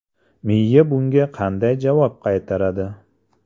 Miya bunga qanday javob qaytaradi?